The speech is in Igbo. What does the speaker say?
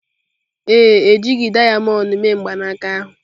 Ee, e jighị dayamond mee mgbanaka ahụ.